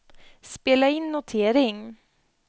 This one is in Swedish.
spela in notering